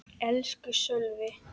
Elsku Sölvi!